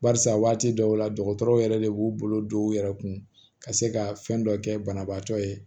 Barisa waati dɔw la dɔgɔtɔrɔw yɛrɛ de b'u bolo don u yɛrɛ kun ka se ka fɛn dɔ kɛ banabaatɔ ye